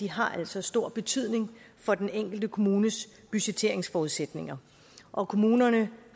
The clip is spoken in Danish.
har altså stor betydning for den enkelte kommunes budgetteringsforudsætninger og kommunerne